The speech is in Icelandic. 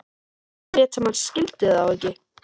Hann lét sem hann skildi þá ekki.